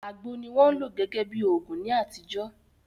Àgbò ni wọ́n lò gẹ́gẹ́ bí òògùn ní àtijọ́